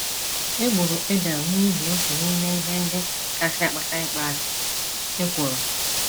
E gburu Ebel n’ihi otu n’ime ihe ndị kasị akpata ịkpọasị: ekworo.